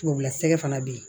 Tubabula sɛkɛ fana be yen